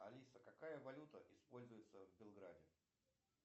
алиса какая валюта используется в белграде